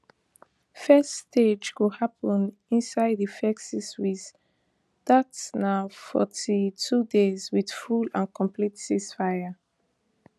first stage go happun inside di first six week dat na forty-two days wit full and complete ceasefire